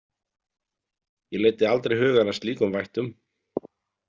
Ég leiddi aldrei hugann að slíkum vættum.